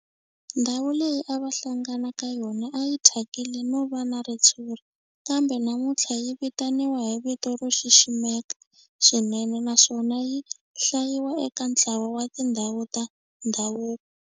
Ndhawu leyi a va hlangana ka yona a yi thyakile no va na ritshuri kambe namuntlha yi vitaniwa hi vito ro xiximeka swinene naswona yi hlayiwa eka ntlawa wa tindhawu ta ndhavuko.